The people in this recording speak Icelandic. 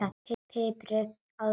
Piprið að lokum.